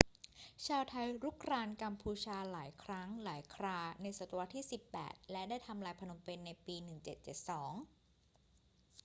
ชาวไทยรุกรานกัมพูชาหลายครั้งหลายคราในศตวรรษที่ 18 และได้ทำลายพนมเปญในปี 1772